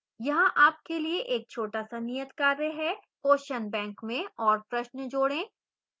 यहाँ आपके लिए एक छोटा सा नियतकार्य है: question bank में और प्रश्न जोड़ें